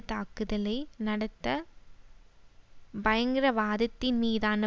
தாக்குதலை நடத்த பயங்கரவாதத்தின் மீதான